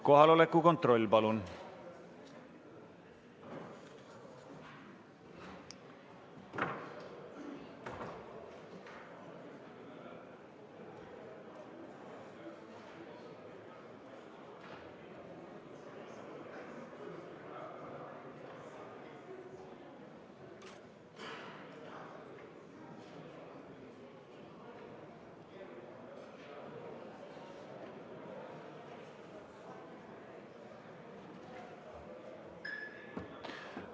Kohaloleku kontroll, palun!